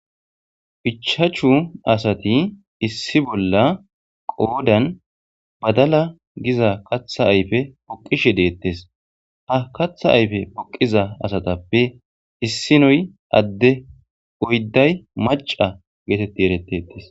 Ichachu asati issi bolla qoodan badala giza katha ayfe poqqishe deettes. Ha katha ayfe poqqiza asatappe issinoy adde oydday macca geetetti eretteettes.